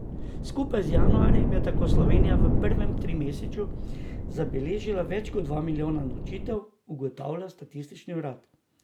Skupaj z januarjem je tako Slovenija v prvem trimesečju zabeležila več kot dva milijona nočitev, ugotavlja statistični urad.